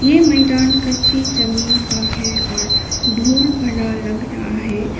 ये मैदान कच्ची जमीन का है और धूल भरा लग रहा है।